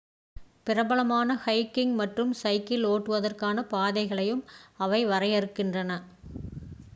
பிரபலமான ஹைகிங் மற்றும் சைக்கிள் ஓட்டுவதற்கான பாதைகளையும் அவை வரையறுக்கின்றன